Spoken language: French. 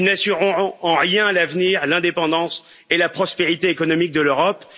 Ils n'assureront en rien l'avenir, l'indépendance et la prospérité économique de l'Europe